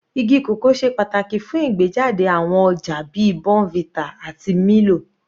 Igi cocoa ṣe pàtàkì fún ìgbéjáde àwọn ọjà bíi bournvita àti milo.